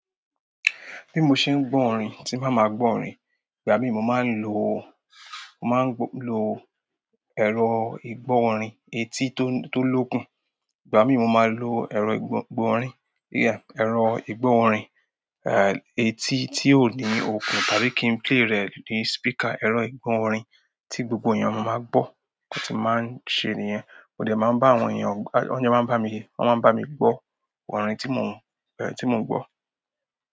Bí mo ṣe gbọ́ orin, tí n bá ma gbọ́ orin, ìgbà mi mo máa ń lò, mo máa ń lo ẹ̀rọ ìgbọ́ orin etí tó lókun, ìgbà mi mo máa ń lo ẹ̀rọ ìgbọ́ orin yeah ẹ̀rọ ìgbó orin, eh etí tí ó ní okùn tàbí kí ń play rẹ̀ ní speaker ẹ̀rọ ìgbó orin tí gbogbo ẹyan má máa gbọ́. Nti mo máa ń ṣe nìyẹn, mo de máa ń bá àwọn èyàn, wo máa ń bami gbọ́. Orin tí mo, eh tí mo ń gbọ́.